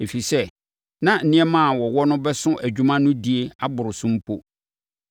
Ɛfiri sɛ, na nneɛma a wɔwɔ no bɛso dwuma no die aboro so mpo.